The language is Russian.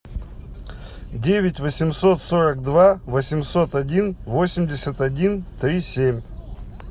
девять восемьсот сорок два восемьсот один восемьдесят один три семь